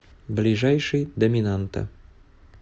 ближайший доминанта